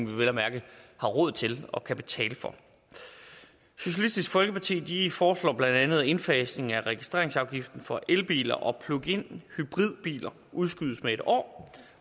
vi vel at mærke har råd til og kan betale for socialistisk folkeparti foreslår bla at indfasningen af registreringsafgiften for elbiler og pluginhybridbiler udskydes med en år